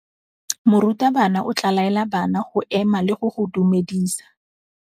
Morutabana o tla laela bana go ema le go go dumedisa.